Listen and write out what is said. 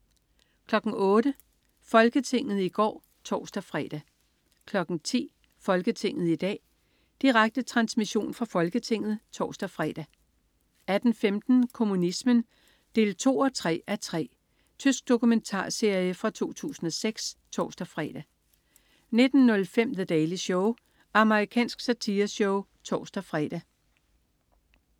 08.00 Folketinget i går (tors-fre) 10.00 Folketinget i dag. Direkte transmission fra Folketinget (tors-fre) 18.15 Kommunismen 2-3:3. Tysk dokumentarserie fra 2006 (tors-fre) 19.05 The Daily Show. Amerikansk satireshow (tors-fre)